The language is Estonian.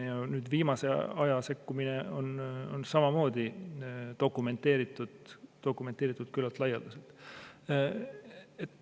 Ja viimase aja sekkumine on küllalt laialdaselt dokumenteeritud.